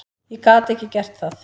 Ég gat ekki gert það.